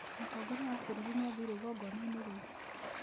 Mũtongoria wa bũrũri nĩ aathiire igongona-inĩ rĩu .